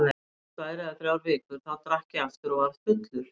Svo liðu tvær eða þrjár vikur, þá drakk ég aftur og varð fullur.